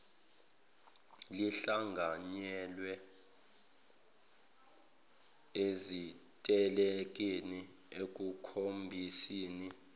lihlanganyele ezitelekeni ekukhombiseni